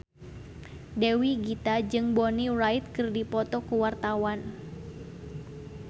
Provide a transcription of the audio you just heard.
Dewi Gita jeung Bonnie Wright keur dipoto ku wartawan